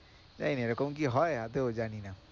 জানিনা এরকম কি হয় আদৌ জানিনা।